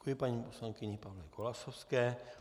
Děkuji paní poslankyni, paní Golasowské.